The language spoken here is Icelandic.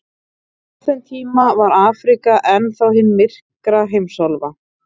Á þeim tíma var Afríka enn þá hin myrka heimsálfa.